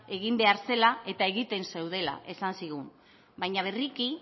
egin behar zela eta egiten zeudela esan zigun baina berriki